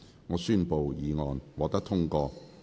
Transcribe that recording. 我宣布議案獲得通過。